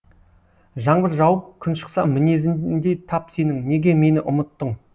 жаңбыр жауып күн шықса мінезіңдей тап сенің неге мені ұмыттың